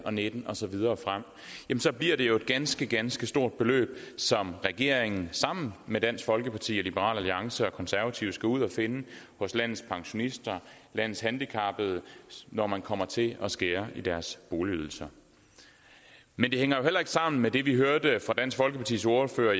og nitten og så videre frem så bliver det jo et ganske ganske stort beløb som regeringen sammen med dansk folkeparti og liberal alliance og konservative skal ud at finde hos landets pensionister landets handicappede når man kommer til at skære i deres boligydelse men det hænger jo heller ikke sammen med det vi hørte fra dansk folkepartis ordfører